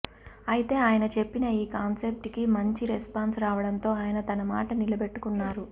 అయితే అయన చెప్పిన ఈ కాన్సెప్ట్ కి మంచి రెస్పాన్స్ రావడంతో అయన తన మాట నిలబెట్టుకున్నారు